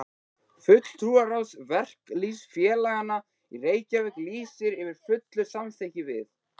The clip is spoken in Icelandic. FULLTRÚARÁÐS VERKALÝÐSFÉLAGANNA Í REYKJAVÍK LÝSIR YFIR FULLU SAMÞYKKI VIÐ